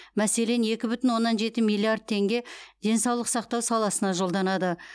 мәселен екі бүтін оннан жеті миллиард теңге денсаулық сақтау саласына жолданады